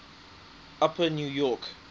upper new york